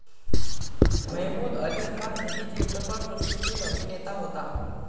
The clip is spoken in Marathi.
मेहमूद अली हा हिंदी चित्रपटसृष्टीतील अभिनेता होता.